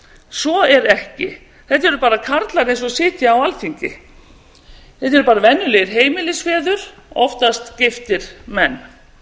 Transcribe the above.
svo er ekki þetta eru bara karlar eins og sitja á alþingi þetta eru bara venjulegir heimilisfeður oftast giftir menn